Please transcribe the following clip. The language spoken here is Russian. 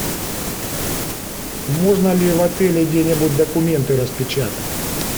можно ли в отеле где нибудь документы распечатать